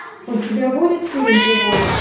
у тебя будет фильм живой